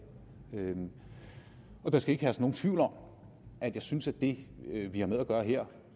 der skal ikke herske nogen tvivl om at jeg synes at det vi har med at gøre her